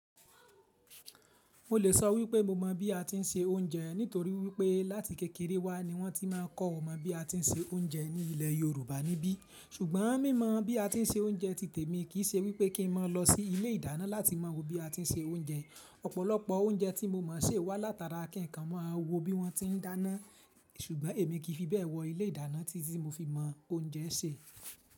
Mo lè sọ wípé mo mọ̀ bí a ti ń se oúnjẹ nítorí wípé láti kékeré wá ni wọ́n ti máa ń kọ́ ọmọ bí a ti ń se oúnjẹ ní ilẹ̀ Yorùbá níbí. Ṣùgbọ́n mí mọ bí a ti ń se oúnjẹ ti tèmi kì í ṣe wípé kí n máa lọ sí ilé ìdáná láti mọ wo bí a ti ń se oúnjẹ. Ọ̀pọ̀lọpọ̀ oúnjẹ tí mo mọ̀ ṣe wá látara kin kan, máa wo bí wọ́n ti ń dáná. Ṣùgbọ́n èmi kì í fi bẹ́ẹ̀ wọ ilé ìdáná títi ti mo fi mọ oúnjẹ sè.